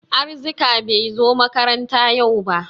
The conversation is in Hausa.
Arzika bai zo makaranta yau ba.